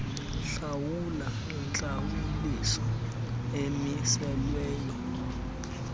hlawula intlawuliso emiselweyo